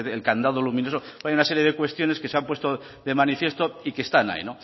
el candado luminoso hay una serie de cuestiones que se han puesto de manifiesto y que están ahí